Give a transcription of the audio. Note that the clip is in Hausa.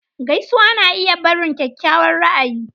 Gaisuwa na iya barin kyakkyawan ra'ayi.